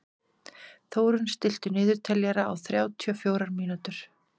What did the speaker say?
Þórunn, stilltu niðurteljara á þrjátíu og fjórar mínútur.